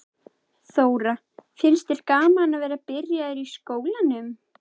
Þóra: Finnst þér gaman að vera byrjaður í skólanum?